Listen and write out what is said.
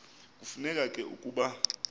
kufuneka ke ukuba